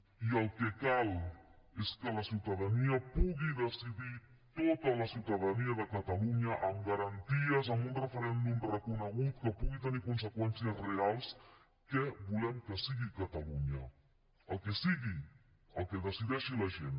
i el que cal és que la ciutadania pugui decidir tota la ciutadania de catalunya amb garanties amb un referèndum reconegut que pugui tenir conseqüències reals què volem que sigui catalunya el que sigui el que decideixi la gent